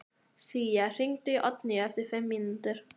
Sía, hringdu í Oddlínu eftir fimm mínútur.